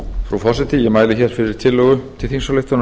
frú forseti ég mæli hér fyrir tillögu til þingsályktunar